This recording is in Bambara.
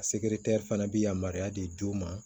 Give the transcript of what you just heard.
A sekiretɛri fana bɛ yamaruya di u ma